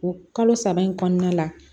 O kalo saba in kɔnɔna la